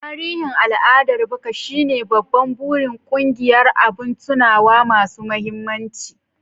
Tarihin al'adar baka shine babban burin ƙungiyar "Abin tunawa masu mahimmanci".